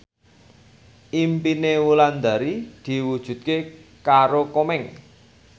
impine Wulandari diwujudke karo Komeng